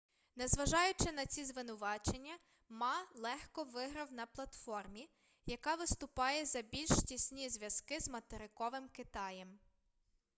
незважаючи на ці звинувачення ма легко виграв на платформі яка виступає за більш тісні зв'язки з материковим китаєм